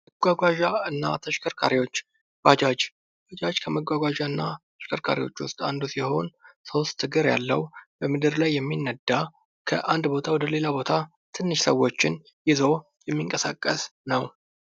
መጓጓዣ እና ተሸከርካሪዎች፦ ለምሳሌ ባጃጅ ፦ ባጃጅ ሶስት እግር ያለው፣ የሚነዳ፣ ከአንድ ቦታ ወደ ሌላ ቦታ ትንሽ ሰዎችን ይዞ የሚንቀሳቀስ ነው።